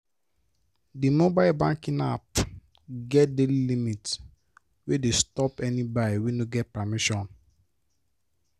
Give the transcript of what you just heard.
the mobile banking app get daily limit wey dey stop any buy wey no get permission.